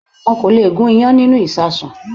Won kò lè gún iyán nínúu ìṣasùn